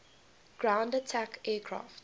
ground attack aircraft